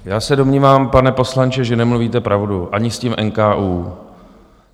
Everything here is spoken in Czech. Já se domnívám, pane poslanče, že nemluvíte pravdu ani s tím NKÚ.